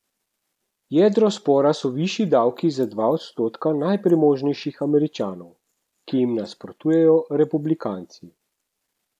Jedro spora so višji davki za dva odstotka najpremožnejših Američanov, ki jim nasprotujejo Republikanci.